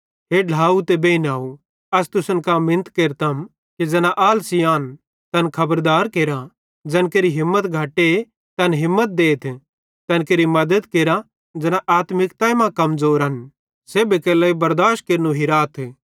हे ढ्लाव ते बेइनव अस तुसन कां मिनत केरतम कि ज़ैना आलसी आन तैन खबरदार केरा ज़ैन केरि हिम्मत घटे तैन हिम्मत देथ तैन केरि मद्दत केरा ज़ैना आत्मिकता मां कमज़ोरन सेब्भी केरे लेइ बरदाशत केरनू हिराथ